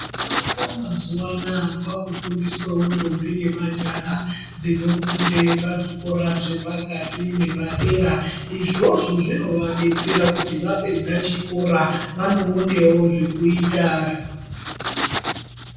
Kuvaka mazuwa anaa kwaakufundiswawo ndombi nemajaha dzinofunde pazvikora zvepakati nepadera izvozvo zvinovadetsera kuti vapedza chikora vanoonewo zvekuita.